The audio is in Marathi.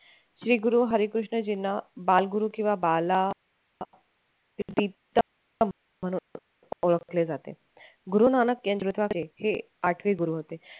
श्री गुरु हरिकृष्णजींना बाल गुरु किंवा बाला म्हणून ओळखले जाते. गुरुनानक यांच्याद्वारे हे आठवे गुरु होते.